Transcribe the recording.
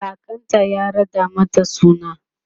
kakanta ya raɗa mata suna